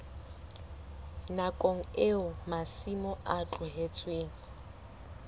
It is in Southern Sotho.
nakong eo masimo a tlohetsweng